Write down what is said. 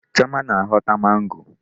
Chioma na-aghọta mango.